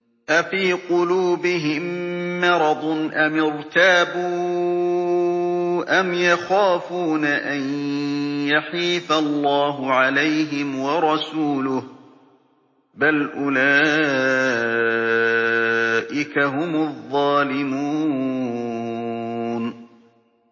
أَفِي قُلُوبِهِم مَّرَضٌ أَمِ ارْتَابُوا أَمْ يَخَافُونَ أَن يَحِيفَ اللَّهُ عَلَيْهِمْ وَرَسُولُهُ ۚ بَلْ أُولَٰئِكَ هُمُ الظَّالِمُونَ